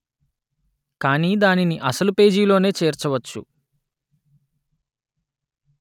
కానీ దానిని అసలు పేజీలోనే చేర్చవచ్చు